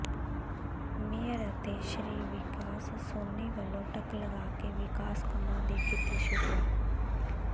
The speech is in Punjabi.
ਮੇਅਰ ਅਤੇ ਸ੍ਰੀ ਵਿਕਾਸ ਸੋਨੀ ਵੱਲੋਂ ਟੱਕ ਲਗਾ ਕੇ ਵਿਕਾਸ ਕੰਮਾਂ ਦੀ ਕੀਤੀ ਸ਼ੁਰੂਆਤ